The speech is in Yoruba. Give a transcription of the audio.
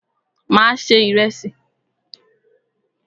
Mà á se ìrẹsì.